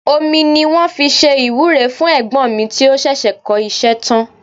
Omi ni wọ́n fi ṣe ìwúre fún ẹ̀gbọ́n mi tí ó ṣẹ̀ṣẹ̀ kọ́ iṣẹ́ tán